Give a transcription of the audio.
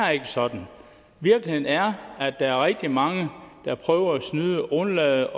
er ikke sådan virkeligheden er at der er rigtig mange der prøver at snyde og undlader